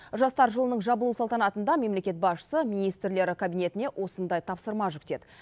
жастар жылының жабылу салтанатында мемлекет басшысы министрлер кабинетіне осындай тапсырма жүктеді